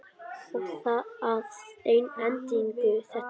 Og að endingu þetta.